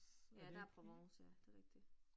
Ja, der Provence ja, det rigtigt